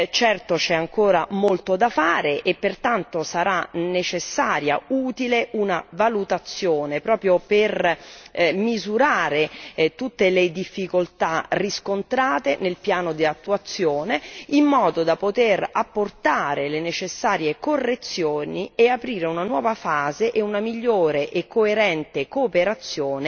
Certo c'è ancora molto da fare e pertanto sarà necessaria e utile una valutazione per misurare tutte le difficoltà riscontrate nel piano di attuazione, in modo da poter apportare le necessarie correzioni e aprire una nuova fase e una migliore e coerente cooperazione